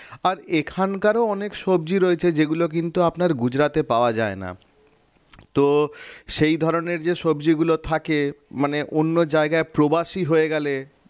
আর এখানকারও অনেক সবজি রয়েছে যেগুলো কিন্তু আপনার গুজরাটে পাওয়া যায় না তো সেই ধরনের যে সবজিগুলো থাকে মানে অন্য জায়গায় প্রবাসী হয়ে গেলে